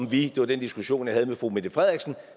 vi det var den diskussion jeg havde med fru mette frederiksen